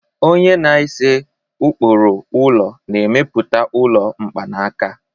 onye na-ese ụkpụrụ ụlọ na-emepụta ụlọ mkpanaka